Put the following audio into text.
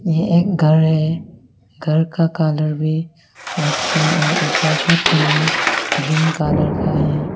यह एक घर है घर का कलर भी वाइट और ऊपर का टीना ग्रीन कलर का है।